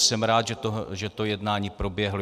Jsem rád, že to jednání proběhlo.